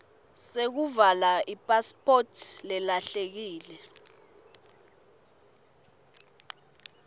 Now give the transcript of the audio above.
sekuvala ipasiphoti lelahlekile